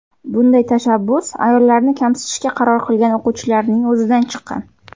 Bunday tashabbus ayollarni kamsitishga qaror qilgan o‘quvchilarning o‘zidan chiqqan.